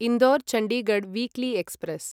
Indore Chandigarh weekly express